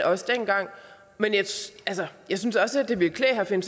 også dengang men jeg synes også det ville klæde herre finn